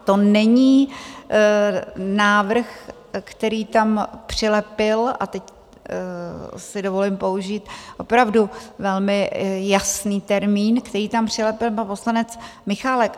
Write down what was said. To není návrh, který tam přilepil, a teď si dovolím použít opravdu velmi jasný termín, který tam přilepil pan poslanec Michálek.